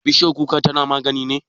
Bishiyar kuka tana magani ne?